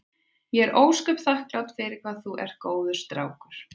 Ég er ósköp þakklát fyrir það hvað þú ert góður strákur.